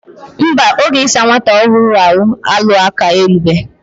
Nba, oge isa nwata ohuru ahu alu aka elubehi.